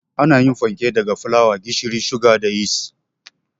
Ana yin fanke daga fulawa, gishiri, suga da yis